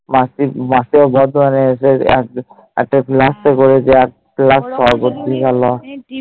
মাসি মাসি ও ভয়ে পেয়ে এসে এত যায় ভালিস্ট করেছে সরবি কি হলো